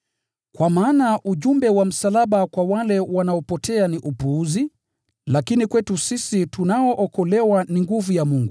Kwa maana ujumbe wa msalaba kwa wale wanaopotea ni upuzi, lakini kwetu sisi tunaookolewa ni nguvu ya Mungu.